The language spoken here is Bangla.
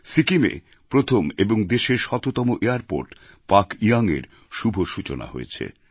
সিকিমে প্রথম এবং দেশের শততম এয়ারপোর্ট পাকইয়ঙএর শুভ সূচনা হয়েছে